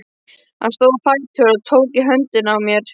Hann stóð á fætur og tók í höndina á mér.